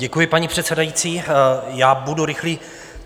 Děkuji, paní předsedající, já budu rychlý.